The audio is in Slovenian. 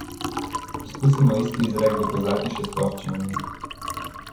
Poskusimo isti izrek dokazati še s ploščinami.